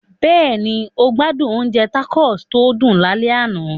Bẹ́ẹ̀ni, o gbádùn oúnjẹ tacos tó dùn lálẹ́ àná.